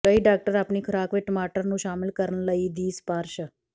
ਕਈ ਡਾਕਟਰ ਆਪਣੀ ਖ਼ੁਰਾਕ ਵਿੱਚ ਟਮਾਟਰ ਨੂੰ ਸ਼ਾਮਿਲ ਕਰਨ ਲਈ ਦੀ ਸਿਫਾਰਸ਼